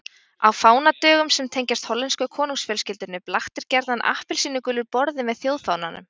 Á fánadögum sem tengjast hollensku konungsfjölskyldunni blaktir gjarnan appelsínugulur borði með þjóðfánanum.